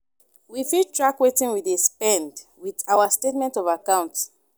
we fit track wetin we dey spend with our statement of account